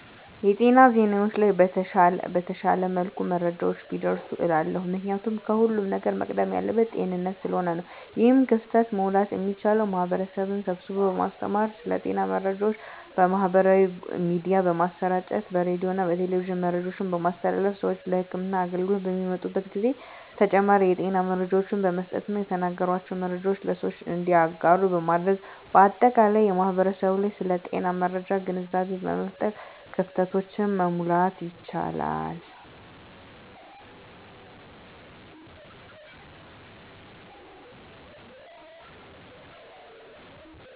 የጤና ዜናዎች ላይ በተሻለ መልኩ መረጃዎች ቢደርሱ እላለሁ። ምክንያቱም ከሁለም ነገር መቅደም ያለበት ጤንነት ስለሆነ ነው። ይህን ክፍተት መሙላት የሚቻለው ማህበረሰብን ስብስቦ በማስተማር ስለ ጤና መረጃዎች በማህበራዊ ሚዲያ በማሰራጨት በሬዲዮና በቴሌቪዥን መረጃዎችን በማስተላለፍ ስዎች ለህክምና አገልግሎት በሚመጡበት ጊዜ ተጨማሪ የጤና መረጃዎችን በመስጠትና የተነገራቸውን መረጃዎች ለሰዎች እንዲያጋሩ በማድረግ በአጠቃላይ በማህበረሰቡ ላይ ስለ ጤና መረጃ ግንዛቤ በመፍጠር ክፍተቶችን መሙላት ይቻላል።